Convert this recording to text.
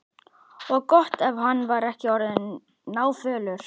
Og gott ef hann var ekki orðinn náfölur.